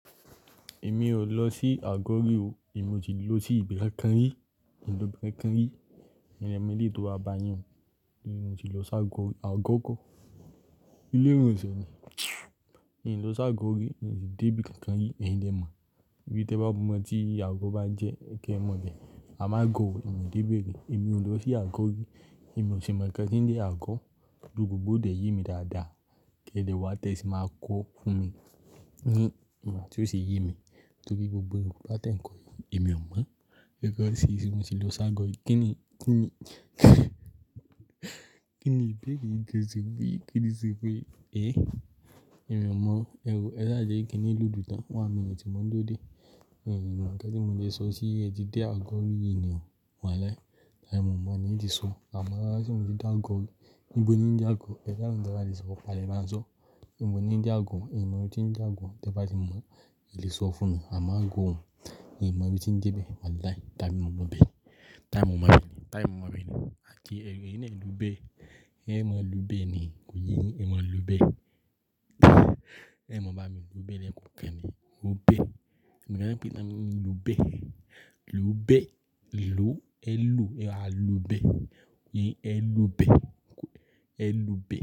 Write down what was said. Emí o losi ago ri o, emi o si lo si ibi kankan ri, nlọ si ibi kankan ri, eyin le mo èléyì to ba yin, ago ko ilé ìwòsàn ni. Èmi lọ sí Àgọ́ rí, n si dé ibi kan kan rí, ẹ̀yin lè mọ̀. Bí tẹ ba mọ̀ n tí Àgọ́ bá jẹ́, kẹ mọ̀ bé amo Agọ́, èmi ò dé bẹ̀ rí. Èmi ò lọ sí Àgọ́ rí, èmi ò ṣi mọ̀ nnkan tí ń jé Àgọ́. Though gbogbo dè ye mi dáadáa, kí n dè wá tẹ sì máa kọ́ fún mi ní ìwon tí ó sì ye mi. Torí gbogbo Yorubá tẹ ń kọ yi, èmi ò mọ̀. Pé kọ́ ṣé ṣé mo ti lọ sí Àgọ́? Kí ni, kí ni, kí ni ibẹ̀ere gan se pe? Kí ni ṣe pé èé? Èmi ò mọ̀ o. Ẹwò, ẹ sáà jẹ́ kínní lódù tán, one minute mọ̀ n duro de. Mi mọ̀ nǹkan tí mo le sọ sí, ẹ ti dé Àgọ́ rí yìí ni o. Wàláhi. Ẹ mo mọ̀ ní n ti sọ. Amo se mo ti dé Àgọ́ rí. Níbo ni nje Àgọ́? Idáhùn ta balè sọ fà á dè máa sọ. Níbo ni nje Àgọ́? I n mọ ibi tí ńje Àgọ́. Tẹ bá ti mọ̀, ẹ lè sọ fún mi. Amo gọ́ òhun. I n mọ ibi tí ńje bẹ̀. Wàlahi. Tábí mo lọ ibẹ̀. Tá mo mọ ibẹ̀ ni. Tá ya mo mọ ibẹ̀ ni. À ti eyi, èyín naa ẹ lú bẹ́. Ẹ maa lú bẹ́ ni. Kò yẹ̀ yin e maa lú bẹ́. Ẹ maa bá mi lú bẹ́ lẹ́ẹ̀kan kankan ni. O bẹ́. Ẹ̀mi gan pẹ̀támì lú bẹ́. Lú bẹ́, lú ẹ lú, ẹ a lú bẹ́. Ẹ̀yi ẹ lú bẹ́. Ẹ lú bẹ́.